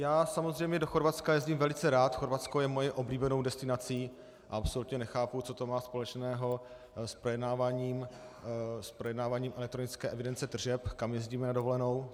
Já samozřejmě do Chorvatska jezdím velice rád, Chorvatsko je mou oblíbenou destinací a absolutně nechápu, co to má společného s projednáváním elektronické evidence tržeb, kam jezdíme na dovolenou.